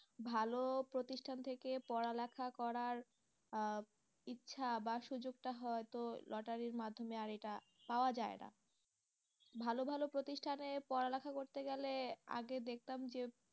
ভালো প্রতিষ্ঠান থেকে পড়ালেখা করার আহ ইচ্ছা বা সুযোগটা তো লটারির মাধ্যমে আর এটা পাওয়া যায় না ভালো ভালো প্রতিষ্ঠানে পড়ালেখা করতে গেলে আগে দেখতাম যে